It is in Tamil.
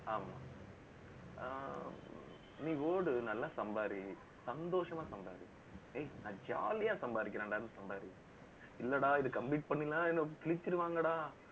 ஆமா அஹ் நீ ஓடு, நல்லா சம்பாரி, சந்தோஷமா சம்பாரி. ஏய், நான் jolly யா சம்பாதிக்கிறேண்டா, சம்பாரி இல்லைடா, இது complete பண்ணின்னா, என்னை கிழிச்சிடுவாங்கடா